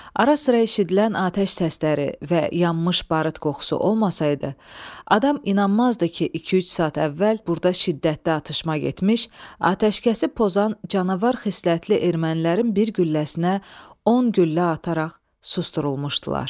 Ara-sıra eşidilən atəş səsləri və yanmış barıt qoxusu olmasaydı, adam inanmazdı ki, iki-üç saat əvvəl burda şiddətli atışma getmiş, atəşkəsi pozan canavar xislətli ermənilərin bir gülləsinə 10 güllə ataraq susdurulmuşdular.